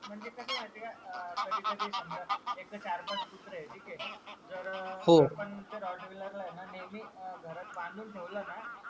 म्हणजे कस आहे माहीत आहे का अं कधी कधी समजा एक तर चार पाच कुत्रे आहे ठीक आहे तर त्या ROTWHEELER ला आहे न नेहमी अं घरात बांधून ठेवल ना